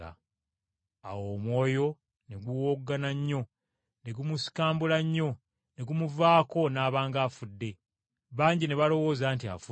Awo omwoyo ne guwowoggana nnyo, ne gumusikambula nnyo, ne gumuvaako n’aba ng’afudde, bangi ne balowooza nti afudde.